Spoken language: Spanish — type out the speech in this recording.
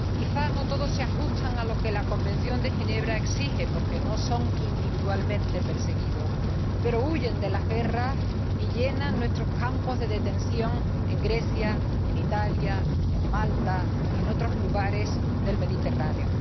Quizá no todos se ajustan a lo que la Convención de Ginebra exige, porque no son individualmente perseguidos, pero huyen de las guerras y llenan nuestros campos de detención en Grecia, en Italia, en Malta y en otros lugares del Mediterráneo.